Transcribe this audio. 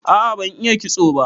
A'a ban iya kitso ba.